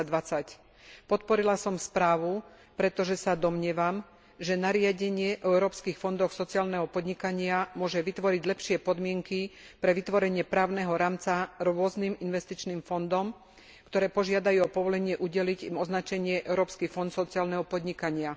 2020. Podporila som správu, pretože sa domnievam, že nariadenie o európskych fondoch sociálneho podnikania môže vytvoriť lepšie podmienky pre vytvorenie právneho rámca rôznym investičným fondom, ktoré požiadajú o povolenie udeliť im označenie Európsky fond sociálneho podnikania.